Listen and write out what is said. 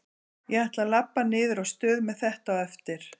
Ég ætla að labba niður á stöð með þetta á eftir.